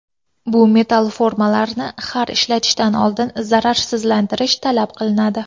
Bu metall formalarni har ishlatishdan oldin zararsizlantirish talab qilinadi.